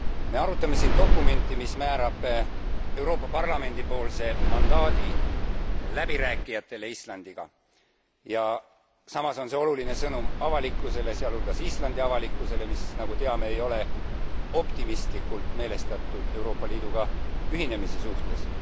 Me arutame siin dokumenti, mis määrab Euroopa Parlamendi poolse mandaadi läbirääkijatele Islandiga ja samas on see oluline sõnum avalikkusele, sealhulgas Islandi avalikkusele, mis nagu teame ei ole optimistlikult meelestatud Euroopa Liiduga ühinemise suhtes.